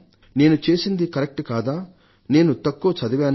నేను చేసింది కరెక్ట్ కదా నేను తక్కువ చదివానా